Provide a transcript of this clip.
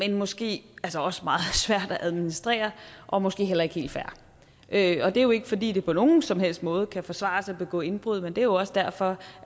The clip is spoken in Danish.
er måske altså også meget svært at administrere og måske heller ikke helt fair det er jo ikke fordi det på nogen som helst måde kan forsvares at begå indbrud men det er jo også derfor